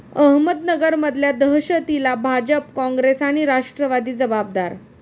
अहमदनगरमधल्या दहशतीला भाजप, काँग्रेस आणि राष्ट्रवादी जबाबदार'